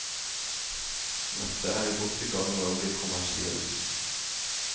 Nettet er godt i gang med å bli kommersiell.